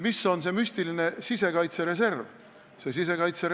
Mis on see müstiline sisekaitsereserv?